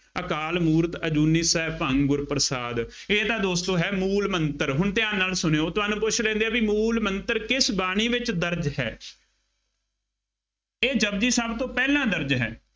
ਅਕਾਲ ਮੂਰਤਿ ਅਜੂਨੀ ਸੈਭੰ ਗੁਰ ਪ੍ਰਸਾਦਿ, ਇਹ ਤਾਂ ਦੋਸਤੋ ਹੈ ਮੂ਼ਲ ਮੰਤਰ, ਹੁਣ ਧਿਆਨ ਨਾਲ ਸੁਣਿਉ, ਤੁਹਾਨੂੰ ਪੁੱਛ ਲੈਂਦੇ ਆ ਬਈ ਮੂ਼ਲ ਮੰਤਰ ਕਿਸ ਬਾਣੀ ਵਿੱਚ ਦਰਜ ਹੈ। ਇਹ ਜਪੁਜੀ ਸਾਹਿਬ ਤੋਂ ਪਹਿਲਾ ਦਰਜ ਹੈ।